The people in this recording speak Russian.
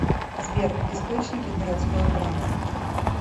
сбер источники городское право